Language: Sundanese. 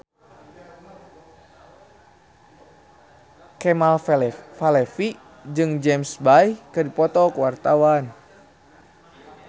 Kemal Palevi jeung James Bay keur dipoto ku wartawan